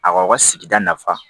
Aw kaw ka sigida nafa